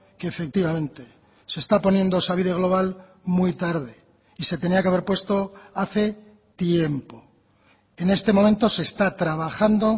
que efectivamente se está poniendo osabide global muy tarde y se tenía que haber puesto hace tiempo en este momento se está trabajando